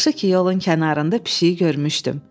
Yaxşı ki, yolun kənarında pişiyi görmüşdüm.